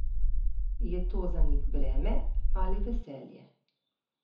Je to za njih breme ali veselje?